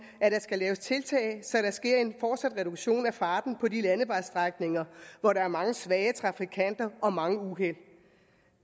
at der skal laves tiltag så der sker en fortsat reduktion af farten på de landevejstrækninger hvor der er mange svage trafikanter og mange uheld